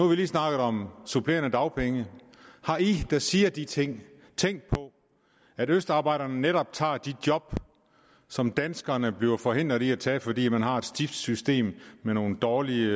vi lige snakket om supplerende dagpenge har de der siger de ting tænkt på at østarbejderne netop tager de job som danskerne bliver forhindret i at tage fordi man har et stift system med nogle dårlige